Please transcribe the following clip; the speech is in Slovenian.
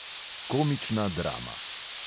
Komična drama.